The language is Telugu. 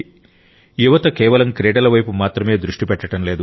యువత కేవలం క్రీడల వైపు మాత్రమే దృష్టి పెట్టడంలేదు